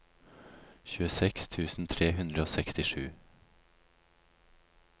tjueseks tusen tre hundre og sekstisju